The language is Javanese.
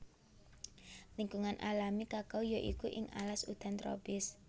Lingkungan alami kakao ya iku ing alas udan tropis